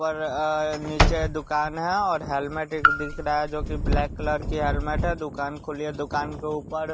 ऊपर अ नीचे दुकान है और हेलमेट एक दिख रहा है जो की ब्लैक कलर की हेलमेट है दुकान खुली है दुकान के ऊपर --